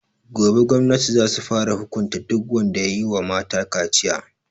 Gobe gwamnati za su fara hukunta duk wanda yayi wa mata kaciya